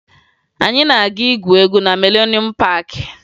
Anyị na-aga igwu egwu na Milenuum Paakị